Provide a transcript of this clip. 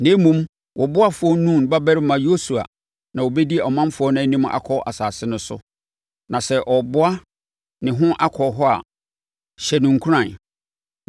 Na mmom, wo ɔboafoɔ Nun babarima Yosua na ɔbɛdi ɔmanfoɔ no anim akɔ asase no so. Na sɛ ɔreboa ne ho akɔ hɔ a, hyɛ no nkuran.